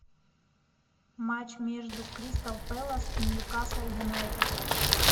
матч между кристал пэлас и ньюкасл юнайтед